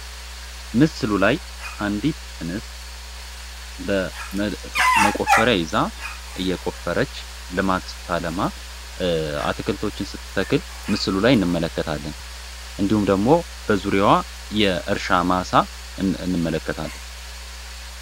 ምስሉ ላይ አንዲት እንስት መቆፈሪያ ይዛ እየቆፈረች ልማት ስታለማ አትክልቶችን ስትተክል ምስሉ ላይ እንመለከታለን እንዲሁም ደግሞ በዙሪያዋ የእርሻ ማሳ እንመለከታለን።